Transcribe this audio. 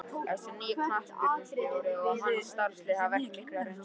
Þessi nýi knattspyrnustjóri og hans starfslið hafa ekki mikla reynslu.